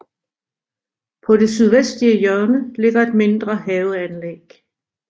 På det sydvestlige hjørne ligger et mindre haveanlæg